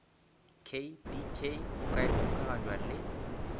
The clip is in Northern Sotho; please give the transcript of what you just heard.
kdk go ka ikgokaganywa le